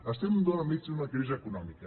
estem enmig d’una crisi econòmica